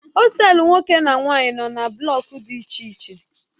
Hostelu nwoke na nwanyị nọ na blọk dị iche iche